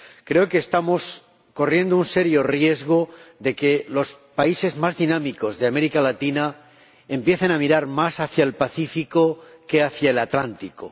Creo que estamos corriendo un serio riesgo de que los países más dinámicos de América Latina empiecen a mirar más hacia el Pacífico que hacia el Atlántico.